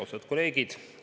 Austatud kolleegid!